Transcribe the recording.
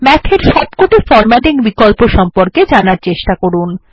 Math এর সবকটি formatting বিকল্প সম্পর্কে জানার চেষ্টা করুন